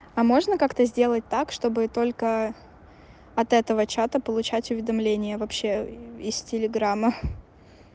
а можно как-то сделать так чтобы только от этого чата получать уведомления вообще из телеграмма